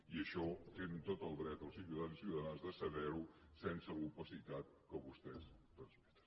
i això tenen tot el dret els ciutadans i ciutadanes de saber ho sense l’opacitat que vostès transmeten